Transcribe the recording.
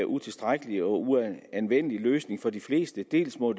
utilstrækkelig og uanvendelig løsning for de fleste dels må